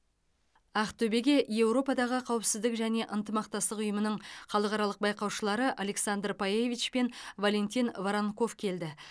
ақтөбеге еуропадағы қауіпсіздік және ынтымақтастық ұйымының халықаралық байқаушылары александра пайевич пен валентин воронков келді